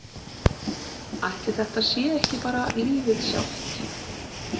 Ætli þetta sé ekki bara lífið sjálft?